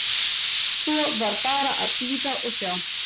Svo var bara að bíða og sjá.